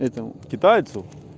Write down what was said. этому китайцу